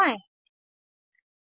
mouse को किसी भी स्ट्रक्चर के पास रखें